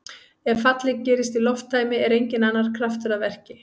Ef fallið gerist í lofttæmi er enginn annar kraftur að verki.